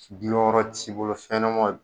Diyɔrɔ t'i bolo fɛnɲɛnamaw